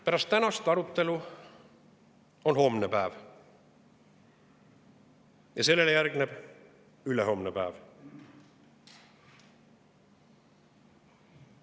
Pärast tänast arutelu on homne päev ja sellele järgneb ülehomne päev.